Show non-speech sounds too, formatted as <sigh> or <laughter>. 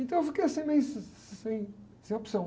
Então eu fiquei assim meio, <unintelligible> sem, sem opção.